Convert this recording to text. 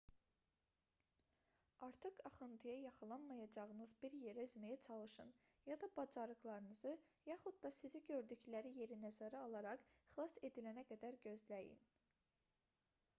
artıq axıntıya yaxalanmayacağınız bir yerə üzməyə çalışın ya da bacarıqlarınızı yaxud da sizi gördükləri yeri nəzərə alaraq xilas edilənə qədər gözləyin